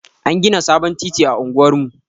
An gina sabon titi a unguwar mu.